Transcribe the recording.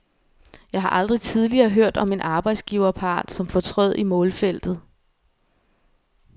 Jeg har aldrig tidligere hørt om en arbejdsgiverpart, som fortrød i målfeltet.